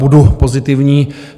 Budu pozitivní.